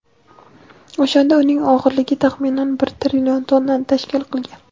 O‘shanda uning og‘irligi taxminan bir trillion tonnani tashkil qilgan.